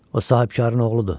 O sahibkarın oğludur.